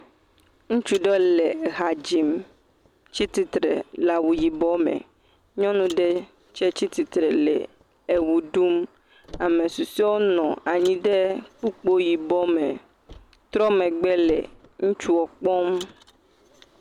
Ŋutsu ɖewo le ha dzim tsi tsitre le awu yibɔ me. Nyɔnu ɖe tsɛ tsi tsitre le ewo ɖum. Ame susɔewo nɔ anyi ɖe kpukpo yibɔ me trɔ megbe le ŋutsuɔ kpɔm.